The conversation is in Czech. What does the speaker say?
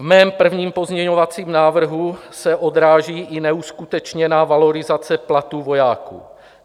V mém prvním pozměňovacím návrhu se odráží i neuskutečněná valorizace platů vojáků.